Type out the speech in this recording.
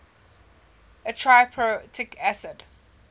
a triprotic acid